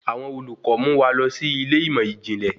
Àwọn olùkọ mu wa lọ sí ilé ìmọ ijinlẹ